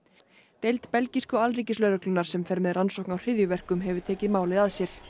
deild belgísku alríkislögreglunnar sem fer með rannsóknir á hryðjuverkum hefur tekið málið að sér